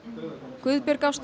Guðbjörg Ásta